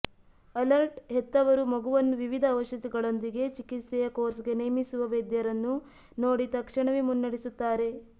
alert ಹೆತ್ತವರು ಮಗುವನ್ನು ವಿವಿಧ ಔಷಧಿಗಳೊಂದಿಗೆ ಚಿಕಿತ್ಸೆಯ ಕೋರ್ಸ್ಗೆ ನೇಮಿಸುವ ವೈದ್ಯರನ್ನು ನೋಡಿ ತಕ್ಷಣವೇ ಮುನ್ನಡೆಸುತ್ತಾರೆ